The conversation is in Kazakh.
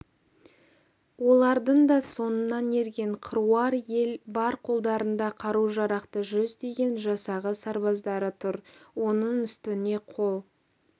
олардың да соңынан ерген қыруар ел бар қолдарында қару-жарақты жүздеген жасағы сарбаздары тұр оның үстіне қол